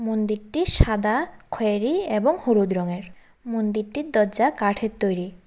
মন্দিরটি সাদা খয়েরি এবং হলুদ রঙের মন্দিরটির দজ্জা কাঠের তৈরি।